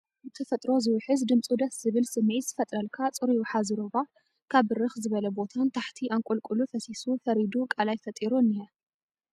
ብተፈጥሮ ዝውሕዝ ድምፁ ደስ ዝብል ስምዒት ዝፈጥረልካ ፅሩይ ወሓዚ ሩባ ካብ ብርኽ ዝበለ ቦታ ንታሕቲ ኣንቆልቁሉ ፈሲሱ ፈሪዱ ቃላይ ፈጢሩ እኒሀ፡፡